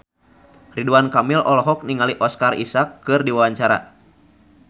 Ridwan Kamil olohok ningali Oscar Isaac keur diwawancara